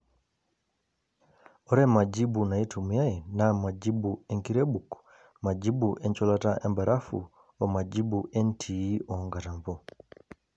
Ore majibu naitumiyai naaa majibu enkirebuk, majibu encholata embarafu omajibu entii oonkatampo.